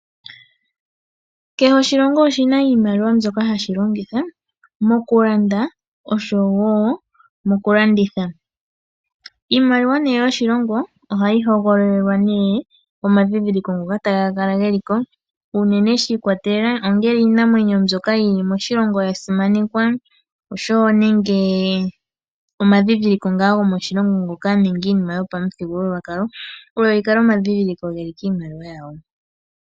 Kehe oshilongo oshina iimaliwa yaasho ndjoka hashi longitha mokulanda nosho woo mokulanditha. Iimaliwa yoshilongo ohayi hogololelwa omandhindhiliko ngoka taga kalako unene iinamwenyo ndjoka yili moshilongo yasimananekwa nenge omandhindhiliko gomoshilongo nenge iinima yopamuthigululwakalo oyo yikale omandhindhiliko gikiimaliwa yawo.